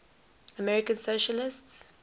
american socialists